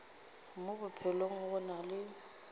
mo bophelong go na le